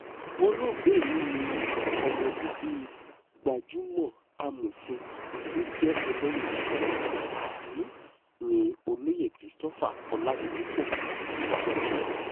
olóògbé yìí ni ọmọ bíbí gbajúmọ̀ amòfin tó jẹ́ ẹlẹ́yinjú-àánú nni olóyè christopher ọládípò ògúnbànjọ́